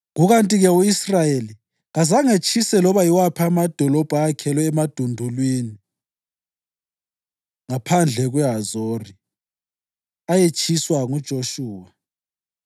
Kukanti-ke u-Israyeli kazange atshise loba yiwaphi amadolobho ayakhelwe emadundulwini ngaphandle kweHazori, eyatshiswa nguJoshuwa.